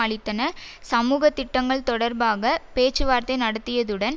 அளித்தன சமூக திட்டங்கள் தொடர்பாக பேச்சுவார்த்தை நடத்தியதுடன்